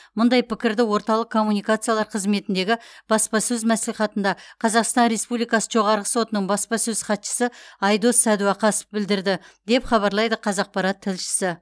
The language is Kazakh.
мұндай пікірді орталық коммуникациялар қызметіндегі баспасөз мәслихатында қазақстан республикасы жоғарғы сотының баспасөз хатшысы айдос сәдуақасов білдірді деп хабарлайды қазақпарат тілшісі